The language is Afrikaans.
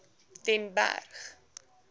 den berg